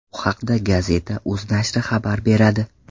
Bu haqda Gazeta.uz nashri xabar beradi.